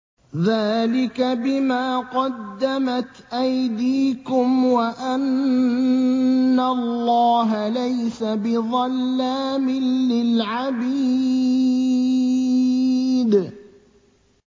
ذَٰلِكَ بِمَا قَدَّمَتْ أَيْدِيكُمْ وَأَنَّ اللَّهَ لَيْسَ بِظَلَّامٍ لِّلْعَبِيدِ